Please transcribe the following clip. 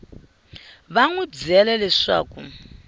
va n wi byele leswaku